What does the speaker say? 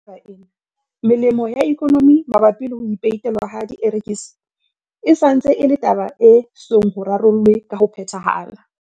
Ho ya ka taba ena, melemo ya ikonomi mabapi le ho peitelwa ha dierekisi e sa ntse e le taba e esong ho rarollwe ka ho phethahala.